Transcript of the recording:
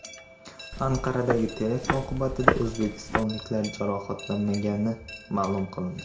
Anqaradagi terakt oqibatida o‘zbekistonliklar jarohatlanmagani ma’lum qilindi .